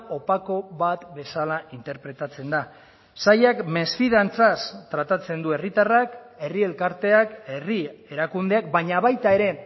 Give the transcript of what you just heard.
opako bat bezala interpretatzen da sailak mesfidantzaz tratatzen du herritarrak herri elkarteak herri erakundeak baina baita ere